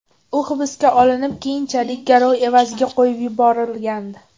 U hibsga olinib, keyinchalik garov evaziga qo‘yib yuborilgandi.